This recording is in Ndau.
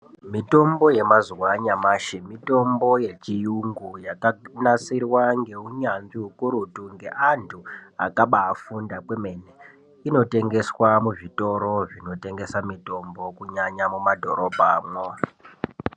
Mitombo yemazuwa anyamashi mitombo yechiyungu yakanasirwa ngeunyanzvi ukurutu ngeanthu akabaafunda kwemene inotengeswa muzvitoro zvinotengesa mitombo kunyanya muma dhorobha mwo.